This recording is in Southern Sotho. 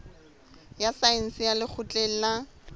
ya saense ya lekgotleng la